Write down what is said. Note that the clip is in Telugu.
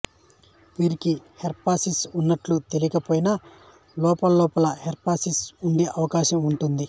వీరికి హెర్పిస్ ఉన్నట్లు తెలియకపోయినా లోలోపల హెర్పిస్ ఉండే అవకాశం ఉంటుంది